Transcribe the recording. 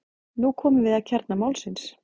Nú komum við að kjarna málsins.